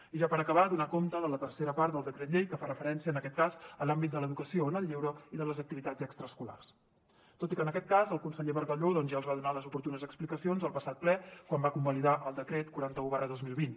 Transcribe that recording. i ja per acabar donar compte de la tercera part del decret llei que fa referència en aquest cas a l’àmbit de l’educació en el lleure i de les activitats extraescolars tot i que en aquest cas el conseller bargalló ja els va donar les oportunes explicacions al passat ple quan va convalidar el decret quaranta un dos mil vint